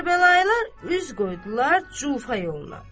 Kərbəlayılar üz qoydular Cufa yoluna.